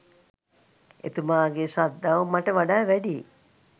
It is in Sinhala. එතුමාගේ ශ්‍රද්ධාව මට වඩා වැඩියි